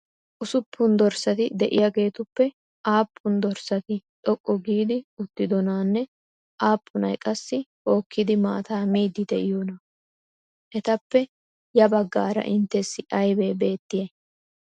Usuppun dorssati de'iyageetuppe aappun dorssati xoqqu giidi uttidonaanne aappunay qassi hokkidi maataa miiddi de'iyonaa? Etappe ya baggaara inttessi aybee beettiyay?